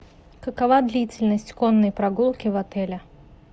какова длительность конной прогулки в отеле